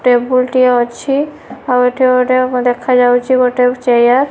Table ଟି ଅଛି ଆଉ ଏଠି ଗୋଟେ ଏବଂ ଦେଖାଯାଉଚି ଗୋଟେ ଚେୟାର ।